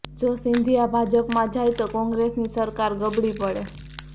જો સિંધિયા ભાજપમાં જાય તો કોંગ્રેસની સરકાર ગબડી પડે